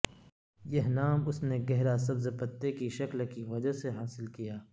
یہ نام اس نے گہرا سبز پتے کی شکل کی وجہ سے حاصل کیا